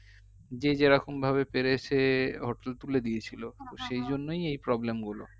যে যেরকম ভাবে পেরেছে hotel তুলে দিয়েছিলো তো সেজন্যই এই problem গুলো